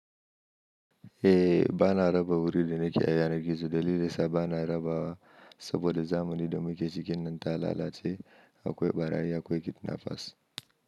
Eh ba na raba wuri da na ƙe a yanar, yana gizo. Dalilin da yasa bana rabawa saboda zamani da muke cikin nan ta lalace. Akwai ɓarayi, akwai kidnapas.